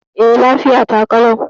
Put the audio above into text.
E, lafiya ta ƙalau.